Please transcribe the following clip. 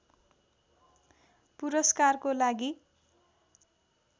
पुरस्कारको लागि